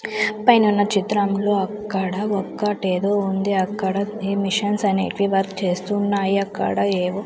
పైనున్న చిత్రంలో అక్కడ ఒక్కటేదో ఉంది అక్కడ ఈ మిషన్స్ అనేటివి వర్క్ చేస్తున్నాయి అక్కడ ఏవో --